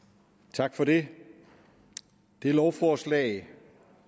tak for det det lovforslag